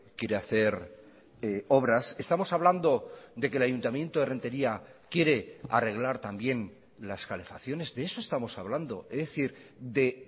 quiere hacer obras estamos hablando de que el ayuntamiento de renteria quiere arreglar también las calefacciones de eso estamos hablando es decir de